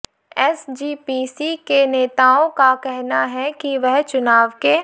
SGPC के नेताओं का कहना है कि वह चुनाव के